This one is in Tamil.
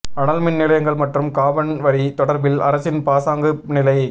அனல் மின்நிலையங்கள் மற்றும் காபன் வரி தொடர்பில் அரசின் பாசாங்கு நிலை